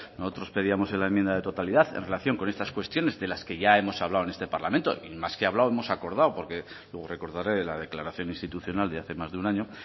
nosotros pedíamos en la enmienda de totalidad en relación con estas cuestiones de las que ya hemos hablado en este parlamento y más que hablado hemos acordado porque luego recordare la declaración institucional de hace más de un año